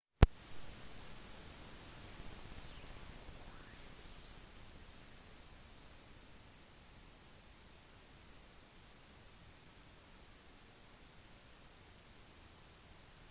man har forsøkt å opprettholde suvereniteten i alle de europeiske statene ved hjelp av systemet med maktbalanse